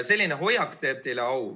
Selline hoiak teeb teile au.